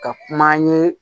Ka kuma an ye